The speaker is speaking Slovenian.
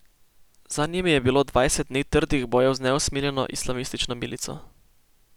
Za njimi je bilo dvajset dni trdih bojev z neusmiljeno islamistično milico.